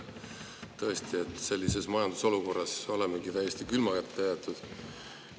Tõesti, sellises majandusolukorras olemegi täiesti külma kätte jäetud.